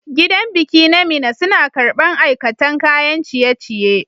Gidan biki na mina suna karbar aikaton kayan ciye ciye